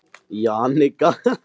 Jannika, slökktu á niðurteljaranum.